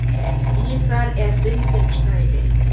Í það er bundið snæri.